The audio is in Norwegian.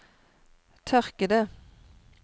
tørkede